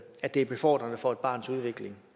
at det er befordrende for et barns udvikling